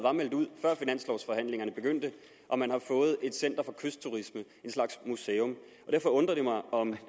meldt ud før finanslovforhandlingerne begyndte og man har fået et center for kystturisme en slags museum derfor undrer det mig